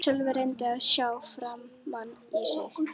Sölvi reyndi að sjá framan í mig.